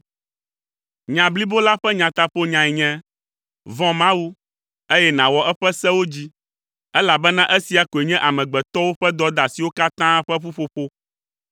Nya blibo la ƒe taƒonyae nye: Vɔ̃ Mawu, eye nàwɔ eƒe sewo dzi, elabena esia koe nye amegbetɔwo ƒe dɔdeasiwo katã ƒe ƒuƒoƒo